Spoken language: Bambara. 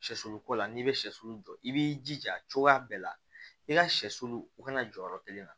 Sɛsulu ko la n'i bɛ sɛsulu jɔ i b'i jija cogoya bɛɛ la i ka sɛsulu u kana jɔyɔrɔ kelen na